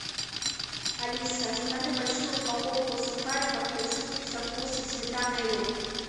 алиса закажи большую упаковку сухариков хрустим со вкусом сметана и лук